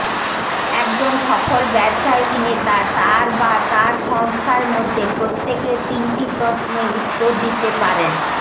একজন সফল ব্যবসায়িক নেতা তার বা তার সংস্থার মধ্যে প্রত্যেকে তিনটি প্রশ্নে উত্তর দিতে পারেন